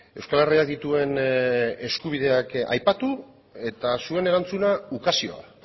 euskal herriak dituen eskubideak aipatu eta zuen erantzuna ukazioa